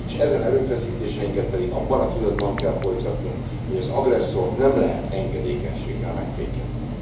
S ezen erőfeszítéseinket pedig abban a tudatban kell folytatnunk, hogy az agresszort nem lehet engedékenységgel megfékezni.